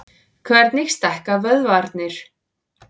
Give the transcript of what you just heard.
Hvernig stækka vöðvarnir?